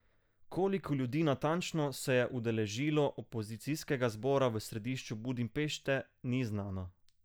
Koliko ljudi natančno se je udeležilo opozicijskega zbora v središču Budimpešte, ni znano.